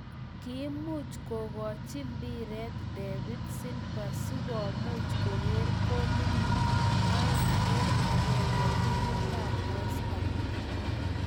Kiimuuch kogochii mbiret david silva sikomuuch kokerr golinil aeng eng agenge timit ab westaam